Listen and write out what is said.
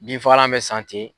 Binfagalan bɛ san ten.